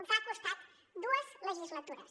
els ha costat dues legislatures